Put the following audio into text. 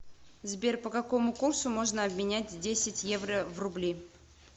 сбер по какому курсу можно обменять десять евро в рубли